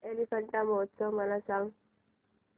एलिफंटा महोत्सव मला सांग